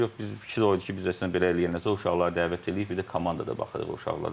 Yox, biz fikir o idi ki, biz əslində belə eləyəndən sonra o uşaqları dəvət eləyib bir də komandada baxırıq o uşaqlara.